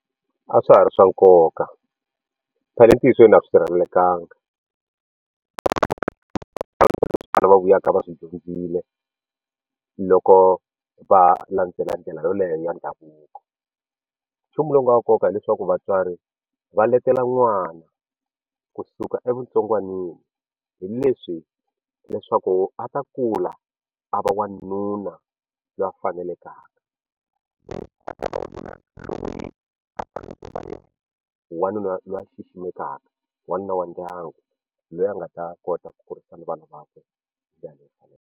A swa ha ri swa nkoka phela entiyisweni a swi sirhelelekangiki va vuyaka va swi dyondzile loko va landzela ndlela yoleyo ya ndhavuko nchumu lowu nga wa nkoka hileswaku vatswari va letela n'wana kusuka evutsongwanini hi leswi leswaku a ta kula a va wanuna loyi a fanaka wanuna loyi a xiximekaka wanuna wa ndyangu loyi a nga ta kota ku kurisa na vana vakwe hi ndlela leyi faneleke.